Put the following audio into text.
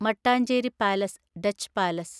Mattancherry palace (Dutch palace)